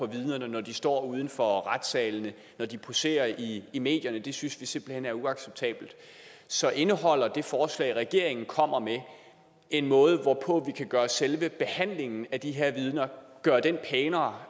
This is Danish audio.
vidnerne når de står uden for retssalene og når de poserer i i medierne det synes vi simpelt hen er uacceptabelt så indeholder det forslag regeringen kommer med en måde hvorpå vi kan gøre selve behandlingen af de her vidner pænere